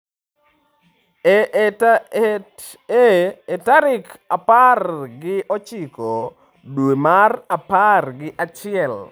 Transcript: Ee, e tarik apar gi ochiko dwe mar apar gi achiel.